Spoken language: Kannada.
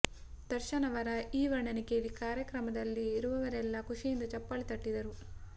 ದರ್ಶನ್ ಅವರ ಈ ವರ್ಣನೆ ಕೇಳಿ ಕಾರ್ಯಕ್ರಮದಲ್ಲಿ ಇರುವವರೆಲ್ಲ ಖುಷಿಯಿಂದ ಚಪ್ಪಾಳೆ ತಟ್ಟಿದರು